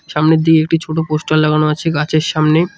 সামনের দিকে একটি ছোট পোস্টার লাগানো আছে গাছের সামনে।